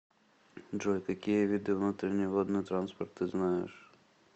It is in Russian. джой какие виды внутренний водный транспорт ты знаешь